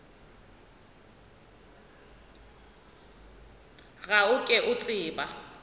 ga o ke o tseba